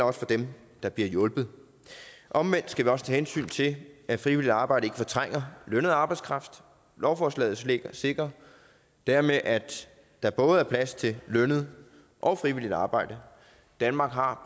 også for dem der bliver hjulpet omvendt skal vi også tage hensyn til at frivilligt arbejde ikke fortrænger lønnet arbejdskraft lovforslaget sikrer dermed at der både er plads til lønnet og frivilligt arbejde danmark har